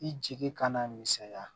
I jigi kana misɛnya